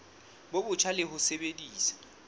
bo botjha le ho sebedisa